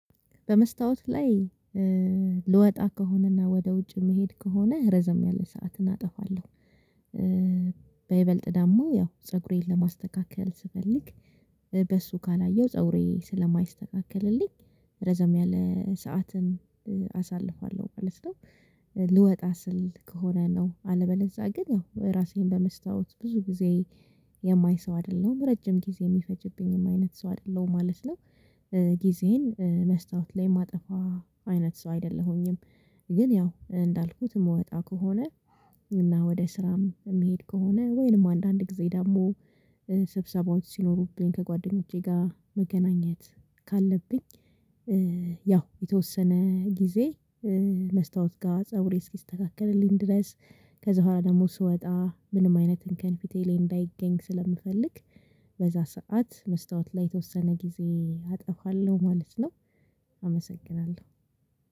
በመስታወት ላይ ልወጣ ከሆነና ወደ ውጭ መሄድ ከሆነ ረዘም ያለ ሰዓትን አጠፋለሁ በይበልጥ ደግም ያው ፀጉሬን ለማስተካከል ስፈልግ በሱ ካላየሁ ፀጉሬ ስለማይስተካከልልኝ ረዘም ያለ ሰዓትን አሳልፋለሁ ማለት ነው። ልወጣ ስል ከሆነ ነው አለበለዛ ግን ያው ራሴን በመስታወት ብዙ ጊዜ የማይ ሰው አይደለሁም ረጅም ጊዜ የሚፈጅብኝም አይነት ሰው አይደለሁም ማለት ነው። ጊዜየን በመስታወት ላይ የማጠፋ አይነት ሰው አይደለሁኝም። ግን ያው እንዳልኩት የምወጣ ከሆነ እና ወደ ስራም የሚሄድ ከሆነ ወይንም አንዳንድ ጊዜ ደግሞ ሰብሰባዎች ሲኖሩብኝ ከጓደኞቼ ጋር መገናኘት ካለብኝ ያው የተወሰነ ጊዜ መስታወት ጋር ፀጉሬ እስኪስተካከልልኝ ድረስ ከዛ በኋላ ደግሞ ስወጣ ምንም አይነት እንከን ፊቴ ላይ እንዳይገኝ ስለምፈልግ በዛ ሰዓት መስታወት ላይ የተወሰነ ጊዜ አጠፋለሁ ማለት ነው። አመሰግናለሁ።